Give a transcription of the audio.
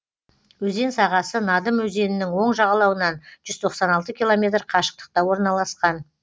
өзен сағасы надым өзенінің оң жағалауынан жүз тоқсан алты километр қашықтықта орналасқан